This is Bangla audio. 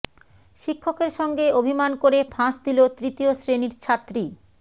শিক্ষকের সঙ্গে অভিমান করে ফাঁস দিল তৃতীয় শ্রেণির ছাত্রী